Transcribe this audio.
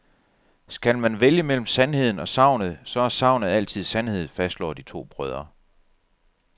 Skal man vælge mellem sandheden og sagnet, så er sagnet altid sandheden, fastslår de to brødre.